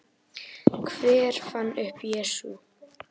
Hver fann upp Jesú?